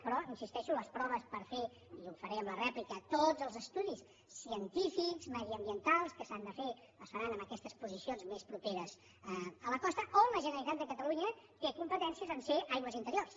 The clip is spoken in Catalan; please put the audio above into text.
però hi insisteixo les proves per fer i ho faré en la rèplica tots els estudis científics mediambientals que s’han de fer es faran en aquestes posicions més properes a la costa on la generalitat de catalunya té competència perquè són aigües interiors